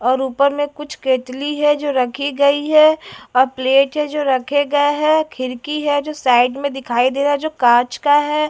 और ऊपर में कुछ केतली है जो रखी गई है और प्लेट है जो रखे गए है। खिड़की है जो साइड में दिखाई दे रहा है जो कांच का है।